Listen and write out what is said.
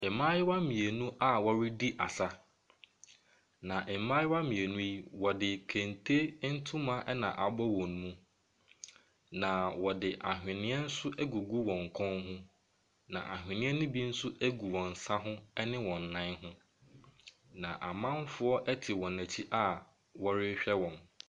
Mmaaayewa mmienu a wɔredi asa. Na mmaayewa mmienu yi, wɔde kente ntoma na abɔ wɔn mu. Na wɔde ahweneɛ nso agugu wɔ kɔn mu. Na anhweneɛ no bi nso gu wɔn nsa ho ne wɔn nan ho. Na amanfoɔ te wɔn akyi a wɔrehwɛ wɔn.